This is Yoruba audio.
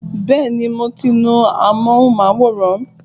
Bẹ́ẹ̀ni, mo ti nu amóhùnmáwòrán